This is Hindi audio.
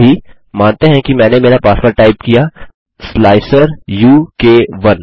अभी मानते हैं कि मैंने मेरा पासवर्ड टाइप किया स्लाइसर उ क 1